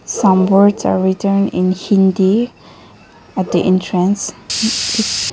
some words are written in hindi at the entrance.